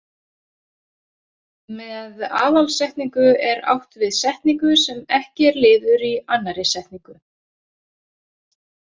Með aðalsetningu er átt við setningu sem ekki er liður í annarri setningu.